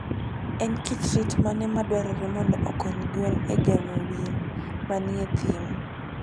En kit rit mane madwarore mondo okony gwen e geng'o winy manie thim?